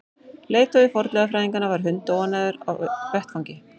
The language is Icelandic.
Leiðtogi fornleifafræðinganna var hundóánægður á vettvangi.